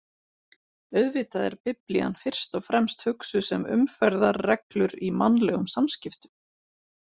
Auðvitað er Biblían fyrst og fremst hugsuð sem umferðarreglur í mannlegum samskiptum.